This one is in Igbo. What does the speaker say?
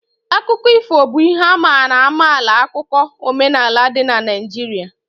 Akụkọ ifo bụ ihe a mara amala 'akụkụ omenaala dị n' Naijiria